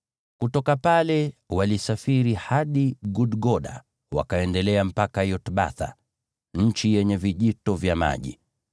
Kutoka pale, walisafiri hadi Gudgoda wakaendelea mpaka Yotbatha, nchi yenye vijito vya maji.